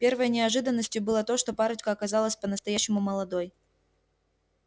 первой неожиданностью было то что парочка оказалась по-настоящему молодой